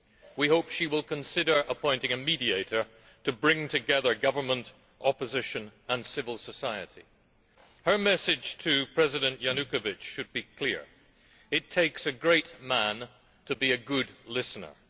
We hope she will consider appointing a mediator to bring together government, opposition and civil society. Her message to President Yanukovych should be clear it takes a great man to be a good listener.